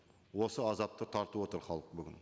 осы азапты тартып отыр халық бүгін